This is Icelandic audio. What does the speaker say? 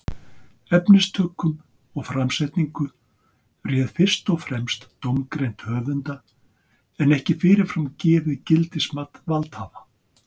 Efnistökum og framsetningu réð fyrst og fremst dómgreind höfunda en ekki fyrirfram gefið gildismat valdhafa.